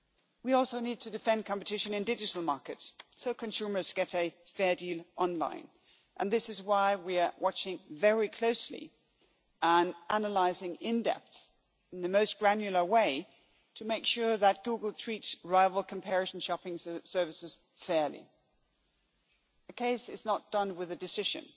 We also need to defend competition in digital markets so consumers get a fair deal online, and this is why we are watching very closely and analysing in-depth, in the most granular way, to make sure that Google treats rival comparison shopping services fairly. A case is not done with a decision